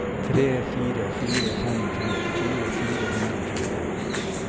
tre fire fire fem femtifire fire hundre og tjueen